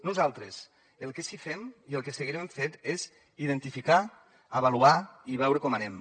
nosaltres el que sí fem i el que seguirem fent és identificar avaluar i veure com anem